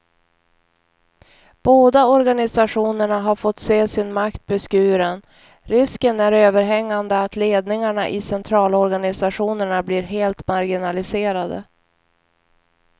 Båda organisationerna har fått se sin makt beskuren, risken är överhängande att ledningarna i centralorganisationerna blir helt marginaliserade.